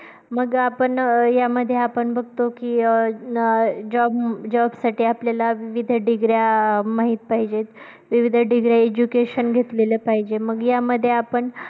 मग आपण अं यामध्ये आपण बघतो की अं job साठी आपल्याला विविध degree माहीत पाहिजेत, विविध degree education घेतलेला पाहिजे. मग यामध्ये आपण